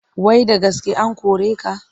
Wai da gaske an kore ka?